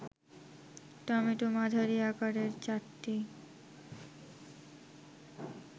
tomato মাঝারি আকারের ৪টি